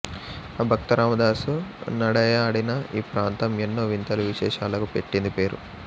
ఆ భక్తరామదాసు నడయాడిన ఈ ప్రాంతం ఎన్నో వింతలు విశేషాలకు పెట్టింది పేరు